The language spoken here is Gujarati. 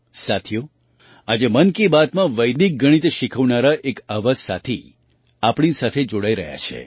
સાથીઓ આજે મન કી બાતમાં વૈદિક ગણિત શીખવનારા એક આવા જ સાથી આપણી સાથે જોડાઈ રહ્યા છે